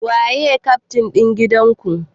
Waye kyaftin na gidan ku?